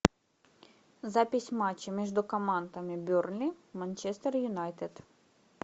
запись матча между командами бернли манчестер юнайтед